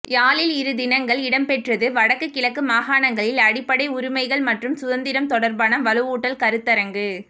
யாழில் இருதினங்கள் இடம்பெற்றது வடக்குக் கிழக்கு மாகாணங்களில் அடிப்படை உரிமைகள் மற்றும் சுதந்திரம் தொடர்பான வலுவூட்டல் கருத்தரங்கு